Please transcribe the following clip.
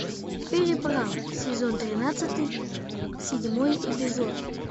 переправа сезон тринадцатый седьмой эпизод